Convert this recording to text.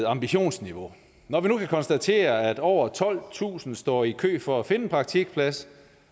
ambitionsniveau når vi nu kan konstatere at over tolvtusind står i kø for at finde en praktikplads